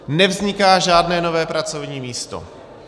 Nevzniká žádné nové pracovní místo.